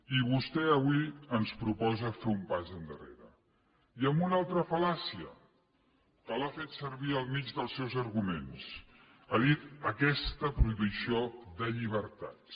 i vostè avui ens proposa fer un pas enrere i amb una altra fal·làcia que l’ha fet servir al mig dels seus arguments ha dit aquesta prohibició de llibertats